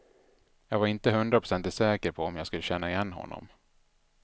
Jag var inte hundraprocentigt säker på om jag skulle känna igen honom.